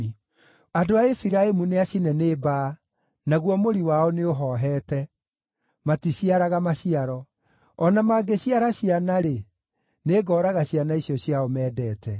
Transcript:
Andũ a Efiraimu nĩacine nĩ mbaa, naguo mũri wao nĩũhoohete, maticiaraga maciaro. O na mangĩciara ciana-rĩ, nĩngooraga ciana icio ciao mendete.”